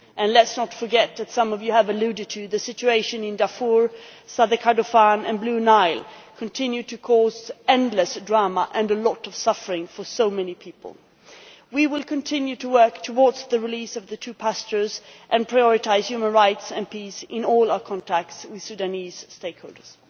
Let us not forget as some of you have mentioned that the situation in Darfur, South Kordofan and Blue Nile continues to cause endless drama and a lot of suffering for so many people. We will continue to work for the release of the two pastors and prioritise human rights and peace in all our contacts with Sudanese stakeholders.